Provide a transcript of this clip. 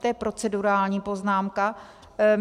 To je procedurální poznámka.